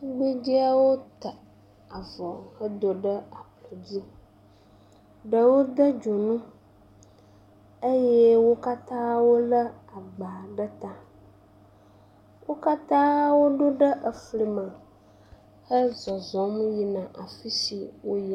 Tugbedeawo ta avɔ hedo ɖe ablɔdzi. Ɖewo de dzonu eye wo katã ewole agba ɖe ta. Wo katã woɖo ɖe efli me hezɔzɔm yina afi si wo le.